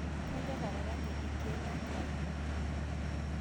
Kanyor ataranya lkek lenkai